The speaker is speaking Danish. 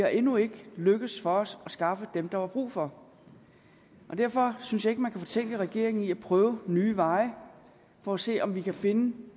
er endnu ikke lykkedes for os at skaffe dem der var brug for derfor synes jeg ikke at man kan fortænke regeringen i at prøve nye veje for at se om vi kan finde